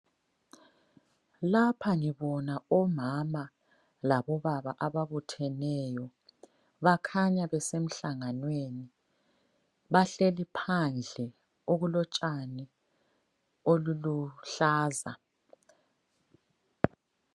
Lapha ngibona omama labobaba ababutheneyo, bakhanya besemhlanganweni. Bahleli phandle okulotshani oluluhlaza.